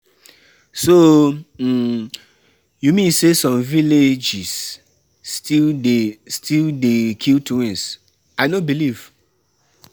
So um you mean say some villages still dey still dey kill twins. I no believe.